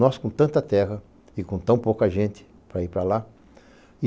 Nós com tanta terra e com tão pouca gente para ir para lá.